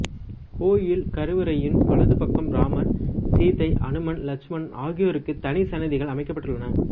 கோயில் கருவறையின் வலது பக்கம் இராமர் சீதை அனுமன் இலட்சுமணன் ஆகியோருக்கு தனிச் சன்னிதிகள் அமைக்கப் பட்டுள்ளன